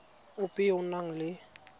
ope yo o nang le